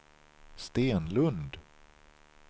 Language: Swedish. Stenlund